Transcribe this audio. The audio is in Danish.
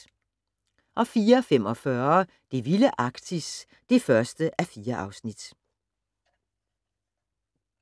04:45: Det vilde Arktis (1:4)